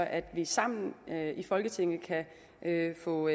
at vi sammen i folketinget kan få